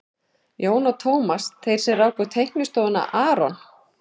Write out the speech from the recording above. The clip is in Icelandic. Jón og Tómas, þeir sem ráku teiknistofuna aRON